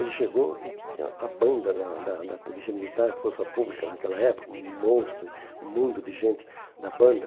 Ele chegou e tinha a banda da da da Polícia Militar, a Força Pública naquela época, um monstro, um mundo de gente da banda.